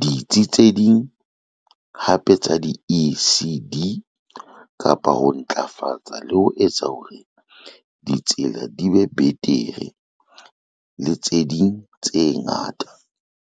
ditsi tse ding hape tsa di-ECD, kapa ho ntlafatsa le ho etsa hore ditsela di be betere le tse ding tse ngata.